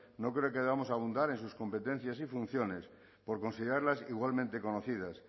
no creo que debamos abundar en sus competencias y funciones por considerarlas igualmente conocidas